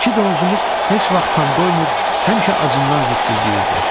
İki donuzumuz heç vaxt tam doymur, həmişə acından zikildəyirdi.